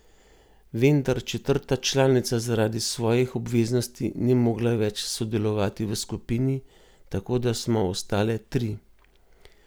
Vendar četrta članica zaradi svojih obveznosti ni mogla več sodelovati v skupini, tako da smo ostale tri.